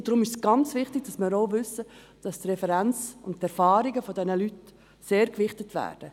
Deshalb ist es sehr wichtig, dass wir auch wissen, dass die Referenz und die Erfahrungen dieser Leute sehr gewichtet werden.